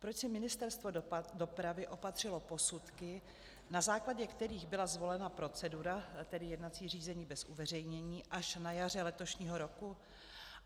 Proč si Ministerstvo dopravy opatřilo posudky, na základě kterých byla zvolena procedura, tedy jednací řízení bez uveřejnění, až na jaře letošního roku?